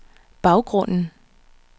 baggrunden